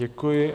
Děkuji.